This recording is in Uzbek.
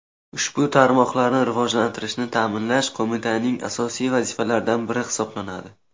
ushbu tarmoqlarni rivojlantirishni taʼminlash Qo‘mitaning asosiy vazifalaridan biri hisoblanadi.